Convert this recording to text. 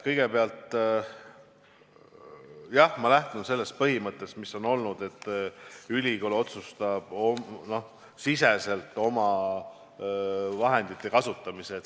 Kõigepealt, jah, ma lähtun sellest põhimõttest, et ülikool ise otsustab oma sisemiste vahendite kasutamise.